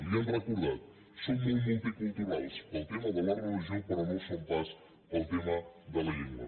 li ho hem recordat són molt multiculturals per al tema de la religió però no ho són pas per al tema de la llengua